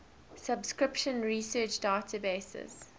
subscription research databases